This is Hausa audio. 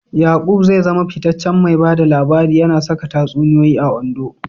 Yaqub zai zama fitaccen mai ba da labari, yana saka tatsuniyoyi a Ondo.